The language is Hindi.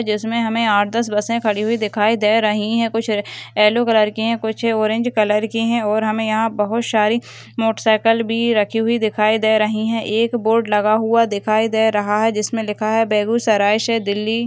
जिसमें हमें आठ दस बस खड़ी हुई दिखाई दे रही है कुछ येलो कलर के हैं कुछ ऑरेंज कलर के हैं और हमें यहां बहुत सारे मोटर साइकल भी रखी हुई दिखाई दे रही है एक बोर्ड लगा हुआ दिखाई दे रहा है जिसमें लिखा है बेगूसराय से दिल्ली।